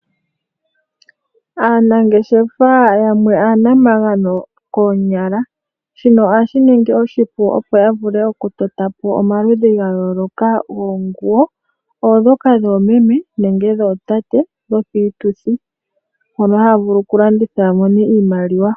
Aanangeshefa yamwe aanamagano koonyala shino ohashi ningi oshipu opo yavule oku totapo omaludhi gayooloka goonguwo ondhoka dhoomeme nenge dhootate dhopiituthi opo yavule okulanditha yamone iimaliwa.